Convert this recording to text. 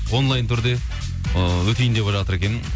онлайн түрде ыыы өтейін деп жатыр екен